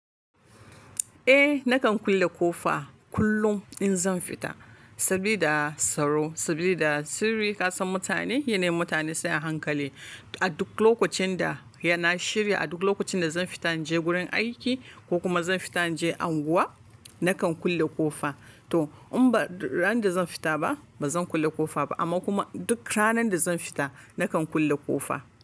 Eh, nakan kulle ƙofa kullum in zan fita. Sabida tsaro, sabilida sirri kasan mutane, yana yin mutane sai hankali. A duk lokacin da yana shirya, a duk lokacin da zan fita in je wurin aiki ko kuma zan fita in je anguwa, nakan kulle ƙofa. To in ba ran da zan fita ba, ba zan kulle ƙofa ba. Amma kuma duk ranar da zan fita, nakan kulle ƙofa.